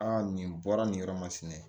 Aa nin bɔra nin yɔrɔ masina